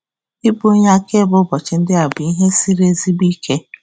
Ịbụ onye akaebe ụbọchị ndị a bụ ihe siri ezigbo ike.